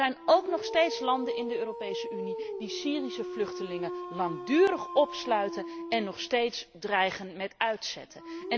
Er zijn ook nog steeds landen in de Europese Unie die Syrische vluchtelingen langdurig opsluiten en nog steeds dreigen met uitzetten.